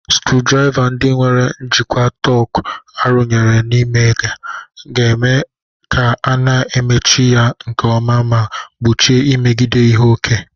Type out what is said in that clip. sucurudriva ndi nwere njikwa torque arụnyere n'ime ga-eme ka a na-emechi ya nke ọma ma gbochie imebiga ihe ókè